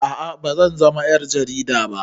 A'a bazan zama ƴar jarida ba